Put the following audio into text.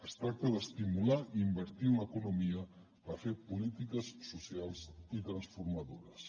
es tracta d’estimular i invertir en l’economia per fer polítiques socials i transformadores